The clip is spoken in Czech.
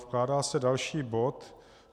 Vkládá se další bod.